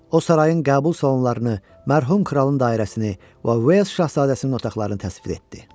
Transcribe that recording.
O sarayın qəbul salonlarını, mərhum kralın dairəsini və Uels şahzadəsinin otaqlarını təsvir etdi.